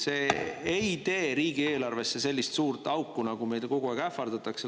See ei tee riigieelarvesse sellist suurt auku, nagu meile kogu aeg ähvardatakse.